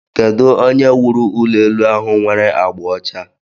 Kedu onye wuru ulo elu ahụ nwere agba ọcha?